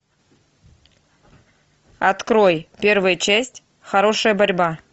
открой первая часть хорошая борьба